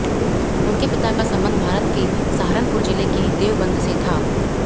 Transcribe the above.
उनके पिता का संबंध भारत के सहारनपुर ज़िले के देवबंद से था